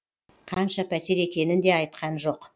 қанша пәтер екенін де айтқан жоқ